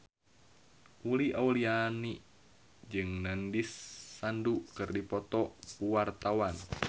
Uli Auliani jeung Nandish Sandhu keur dipoto ku wartawan